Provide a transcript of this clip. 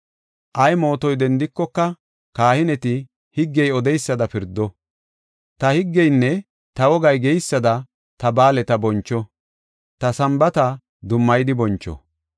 Ay mootoy dendikoka, kahineti higgey odeysada pirdo. Ta higgeynne ta wogay geysada ta ba7aaleta boncho; ta Sambaata dummayidi boncho.